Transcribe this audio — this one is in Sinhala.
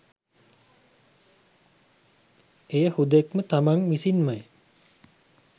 එය හුදෙක්ම තමන් විසින්ම